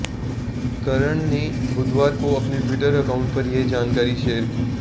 करण ने बुधवार को अपने ट्विटर अकाउंट पर यह जानकारी शेयर की